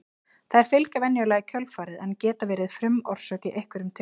Þær fylgja venjulega í kjölfarið en geta verið frumorsök í einhverjum tilfellum.